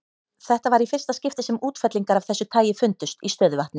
Þetta var í fyrsta skipti sem útfellingar af þessu tagi fundust í stöðuvatni.